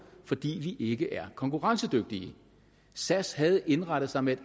fordi vi ikke er konkurrencedygtige sas havde indrettet sig med et